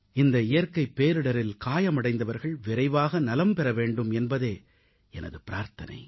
இந்த இயற்கைப் பேரிடரில் காயமடைந்தவர்கள் விரைவாக நலம் பெற வேண்டும் என்பதே எனது பிரார்த்தனை